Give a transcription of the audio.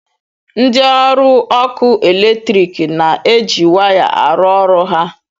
Ndị ọrụ ọkụ eletrik na-eji waya arụ ọrụ ha